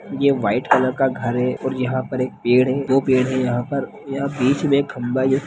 यहाँ white colour का घर है और यहाँ पर एक पेड़ है दो पेड़ है यहाँ पर यहा बीच में एक खंबा है--